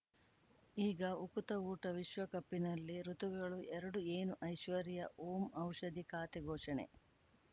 ಈಗ ಉಕುತ ಊಟ ವಿಶ್ವಕಪ್ಪಿನಲ್ಲಿ ಋತುಗಳು ಎರಡು ಏನು ಐಶ್ವರ್ಯಾ ಓಂ ಔಷಧಿ ಖಾತೆ ಘೋಷಣೆ